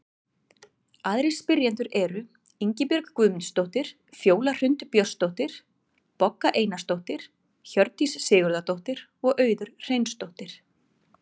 Aðrir spyrjendur eru: Ingibjörg Guðmundsdóttir, Fjóla Hrund Björnsdóttir, Bogga Einarsdóttir, Hjördís Sigurðardóttir og Auður Hreinsdóttir.